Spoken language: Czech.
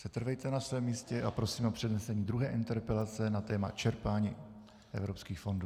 Setrvejte na svém místě a prosím o přednesení druhé interpelace na téma čerpání evropských fondů.